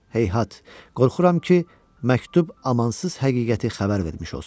Heyhat, qorxuram ki, məktub amansız həqiqəti xəbər vermiş olsun.